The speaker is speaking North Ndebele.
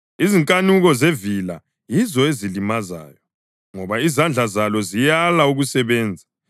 Izinkanuko zevila yizo ezililimazayo, ngoba izandla zalo ziyala ukusebenza.